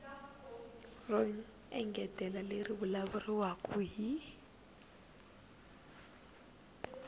ro engetela leri vulavuriwaka hi